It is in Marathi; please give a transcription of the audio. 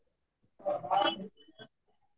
ठीक आहे